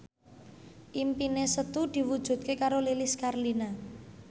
impine Setu diwujudke karo Lilis Karlina